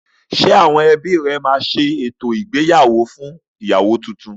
Ṣé àwọn ebí rẹ máa ṣe orò ìyàwọ́ fún ìyàwọ́ túntún?